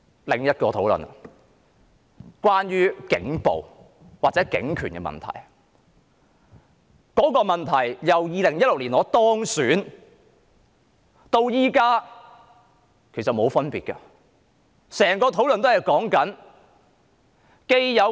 另外，有關警暴或警權問題的討論，由我2016年當選至今，其實情況從來沒有兩樣。